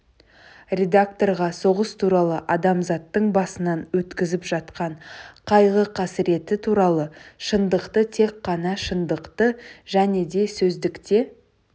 редакторға соғыс туралы адамзаттың басынан өткізіп жатқан қайғы-қасіреті туралы шындықты тек қана шындықты және де сөздікте